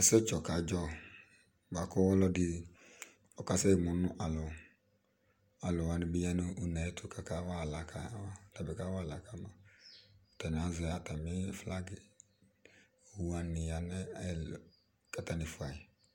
Ɛsɛdzɔ kadzɔ boa kʋ ɔlɔdi ɔkasɛ mu nʋ alɔ Alʋ wani bi ya nʋ une yɛ tʋ kakawa aɣla kawa ma kʋ atabi kawa aɣla ka ma Atani azɛ atami flagi Owu wani ya nʋ atami li kʋ atani fua yi